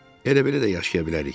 Elə belə də yaşaya bilərik.